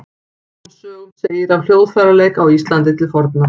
Fáum sögum segir af hljóðfæraleik á Íslandi til forna.